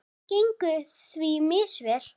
Það gengur því misvel.